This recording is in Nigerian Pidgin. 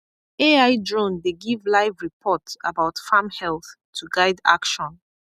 ai drone dey give live report about farm health to guide action